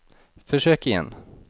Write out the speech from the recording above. försök igen